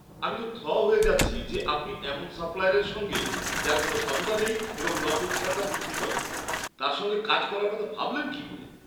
আমি তো থ হয়ে যাচ্ছি যে আপনি এমন সাপ্লায়ারের সঙ্গে, যার কোনও সততা নেই এবং নকল খেলনা বিক্রি করে, তার সঙ্গে কাজ করার কথা ভাবলেন কী করে!